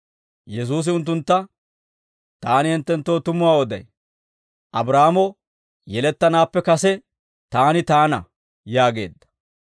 Yesuusi unttuntta, «Taani hinttenttoo tumuwaa oday; Abraahaamo yelettanaappekka kase Taani Taana» yaageedda.